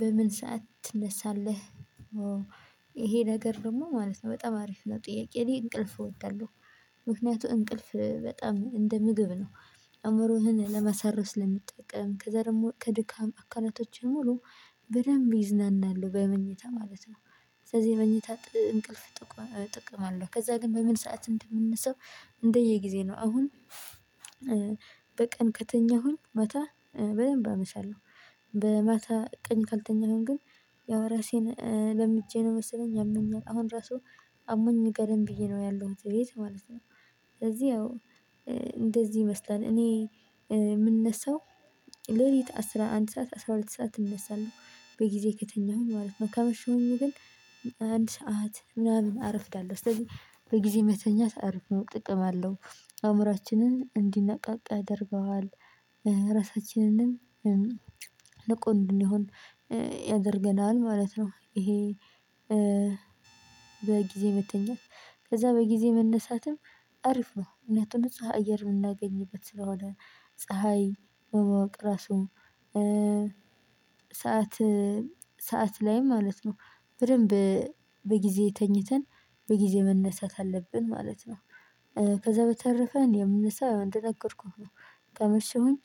በምን ሰዓት ትነሳለህ? እሄ ነገር ደግሞ ማለት ነው በጣም አሪፍ ለጥያቄ እኔ እንቅልፍ እወዳለሁ ምክንያቱም እንቅልፍ በጣም እንደ ምግብ ነው። አእምሮህን ለመሰረው ስለሚጠቀም ከዛ ደግሞ ከድካም አካላቶችን ሙሉ በደንብ ይዝናናሉ በመኝታ ማለት ነው። ስለዚህ የመኝታ እንቅልፍ ጥቅም አለው። ከዛ ግን በምን ሰዓት እንደምነሳው? እንደየጊዜ ነው። አሁን በቀን ከተኛሁኝ ማታ በደንብ አመሻለሁ። በማታ ቀኝ ካልተኛሁኝ ግን ያው ራሴን ለምጀ ነው። መሰለኝ ያመኛል አሁን ራሱ አሞኝ ጋደም ብዬ ነው ያለሁት እቤት ማለት ነው። ስለዚህ ያው እንደዚህ ይመስላል። እኔ ምነሳው ሌሊት አስራ አንድ ሰዓት አስራ ሁለት ሰዓት እነሳለሁ በጊዜ ከተኛሁ ማለት ነው። ካመሸሁኝ ግን አንድ ሰዓት ምናምን አረፍዳለሁ። ስለዚህ በጊዜ መተኛት አሪፍ ነው ጥቅም አለው። አእምሮአችንን እንዲነቃቃ ያደርገዋል ራሳችንንም ንቁ እንድንሆን ያደርገናል ማለት ነው። ይሄ በጊዜ መተኛት ከዛ በጊዜ መነሳትም አሪፍ ነው። ምክንያቱም ፀሀይ አየር የምናገኝበት ስለሆነ። ፀሀይ በማወቅ ራሱ ሰዓት ሰዓት ላይ ማለት ነው። በደንብ በጊዜ ተኝተን በጊዜ መነሳት አለብን ማለት ነው። ከዛ በተረፈ እኔ ምነሳው ያው እንደነገርኩህ ነው። ካመሸሁኝ